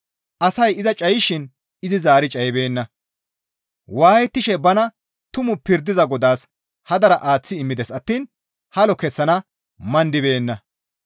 Asay iza cayishin izi zaari cayibeenna. Waayettishe bana tumu pirdiza Godaas hadara aaththi immides attiin halo kessana mandibeenna.